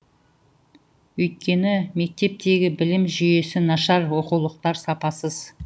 өйткені мектептегі білім жүйесі нашар оқулықтар сапасыз